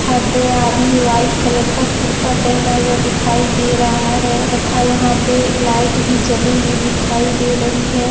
दो आदमी white colour का कुर्ता पहना हुआ दिखाई दे रहा है तथा यहां पे लाइट भी जली हुई दिखाई दे रही है।